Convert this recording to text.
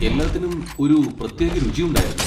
എല്ലാത്തിനും ഒരു പ്രത്യേക രുചി ഉണ്ടായിരുന്നു.